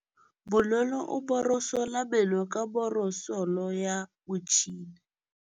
Bonolô o borosola meno ka borosolo ya motšhine.